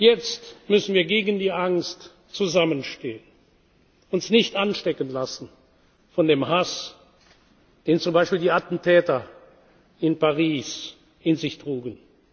Jetzt müssen wir gegen die Angst zusammenstehen, uns nicht anstecken lassen von dem Hass, den zum Beispiel die Attentäter in Paris in sich trugen.